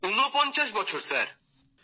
৩৯ বছর স্যার